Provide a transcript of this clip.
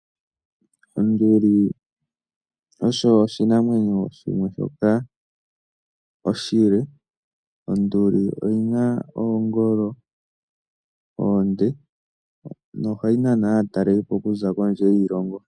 Onduli osho oshinamwenyo shimwe shoka oshile, onduli oyina oongolo oonde, nohayi nana aatalelipo okuza kondje yiilongo.